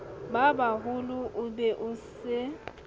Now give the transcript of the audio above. babaholo o be o se